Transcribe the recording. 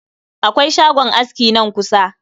Akwai shagon aski nan kusa